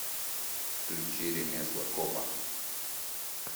включи ремесло копа